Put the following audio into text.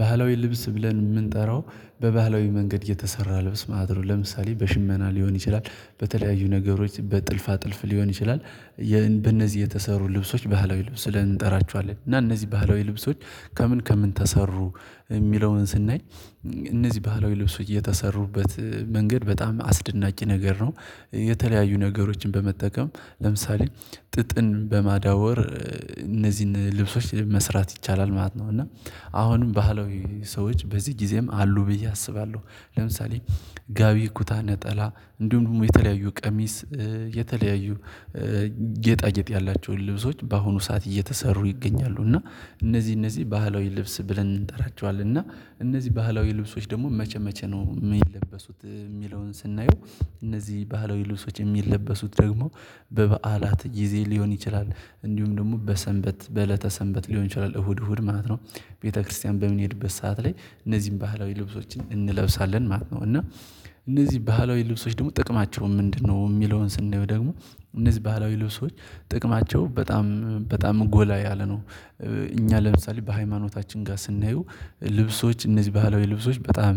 ባህላዊ ልብስ ብለን የምንጠራው በባህላዊ መንገድ የተሰራ ልብስ ማድረግ ለምሳሌ በሽመና ሊሆን ይችላል በተለያዩ ነገሮች በጥልፋ ጥልፍ ሊሆን ይችላል። በእነዚህ የተሰሩ ልብሶች ባህላዊ ልብስ ብለን እንጠራቸዋለን። እና እነዚህ ባህላዊ ልብሶች? ከምን ከምን ተሰሩ የሚለውን ስናይ እነዚህ ባህላዊ ልብሱ እየተሰሩበት መንገድ በጣም አስደናቂ ነገር ነው። የተለያዩ ነገሮችን በመጠቀም ለምሳሌ ጥጥን በማዳወር እነዚህን ልብሶች መስራት ይቻላል ማለት ነው። እና አሁንም ባህላዊ ሰዎች በዚህ ጊዜም አሉ ብዬ አስባለሁ። ለምሳሌ ጋቢ ኩታ ነጠላ እንዲሁም የተለያዩ ቀሚስ። የተለያዩ ጌጣጌጥ ያላቸውን ልብሶች በአሁኑ ሰዓት እየተሰሩ ይገኛሉ። እና እነዚህ እነዚህ ባህላዊ ልብስ ብለን እንጠራቸዋለን። እና እነዚህ ባህላዊ ልብሶች ደግሞ መቼ መቼ ነው የሚለበሱት የሚለውን ስናየው? እነዚህ ባህላዊ ልብሶች የሚለበሱት ደግሞ በበዓላት ጊዜ ሊሆን ይችላል እንዲሁም ደግሞ በሰንበት በእለተ ሰንበት ሊሆን ይችላል እሁድ እሁድ ማለት ነው። ቤተክርስቲያን በምንሄድበት ሰዓት ላይ እነዚህን ባህላዊ ልብሶችን እንለብሳለን ማለት ነው። እና እነዚህ ባህላዊ ልብሶች ደግሞ ጥቅማቸውን ምንድነው? የሚለውን ስንይው ደግሞ እነዚህ ባህላዊ ልብሶች ጥቅማቸው በጣም በጣም ጎላ ያለ ነው። እኛ ለምሳሌ በሃይማኖታችን ጋር ስናየው ልብሶች እነዚህ ባለው የልብሶች በጣም